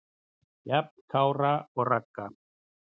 Jafn Kára og Ragga.